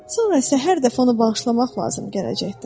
Sonra isə hər dəfə onu bağışlamaq lazım gələcəkdir.